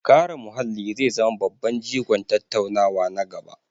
Kare muhalli zai zama babban jigon tattaunawa na gaba.